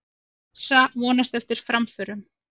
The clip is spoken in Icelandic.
Massa vonast eftir framförum